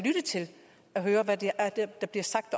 og høre hvad der bliver sagt